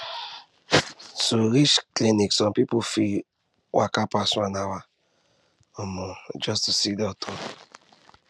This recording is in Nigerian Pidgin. to reach clinic some people fit waka pass one hour um just to see doctor